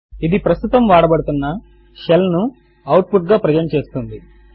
ఇది ప్రస్తుతము వాడబడుతున్న షెల్ ను అవుట్ పుట్ గా ప్రెజెంట్ చేస్తుంది